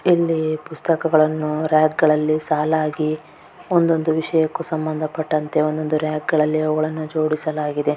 ಇಲ್ಲಿ ಪುಸ್ತಕಗಳನ್ನು ರಾಕ್ ಗಳಲ್ಲಿ ಸಾಲಾಗಿ ಒಂದೊಂದು ವಿಷಯಕ್ಕೂ ಸಮಂದಪಟ್ಟಂತೆ ಒಂದೊಂದು ರಾಕ್ ಗಳಲ್ಲಿ ಅವುಗಳನ್ನು ಜೋಡಿಸಲಾಗಿದೆ.